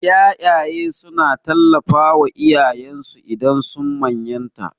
Ƴaƴaye suna tallafawa iyayensu idan sun manyanta.